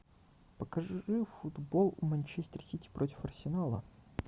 покажи футбол манчестер сити против арсенала